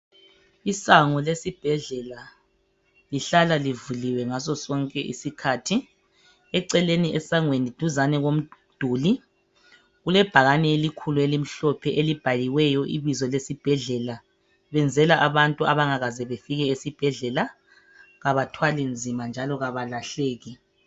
Isango lesibhedlela lihlala livuliwe ngaso sonke isikhathi .Eceleni esangweni duzane komduli kulebhakane elikhulu elimhloohe elibhaliweyo ibizo lesibhedlela . Benzela abantu abangakaze befike esibhedlela kabathwali nzima .Njalo kabalahleki .